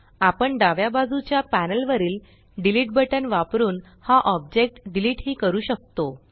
आपण डाव्या बाजूच्या पॅनल वरील डिलीट बटन वापरुन हा ऑब्जेक्ट डिलीट ही करू शकतो